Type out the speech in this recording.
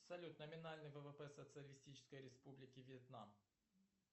салют номинальный ввп социалистической республики вьетнам